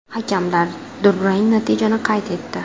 Hakamlar durang natijani qayd etdi.